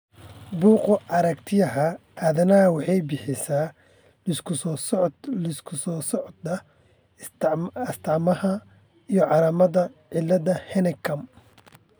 Bugga Aaragtiyaha Aanadaha waxay bixisaa liiska soo socda ee astamaha iyo calaamadaha cilada Hennekam .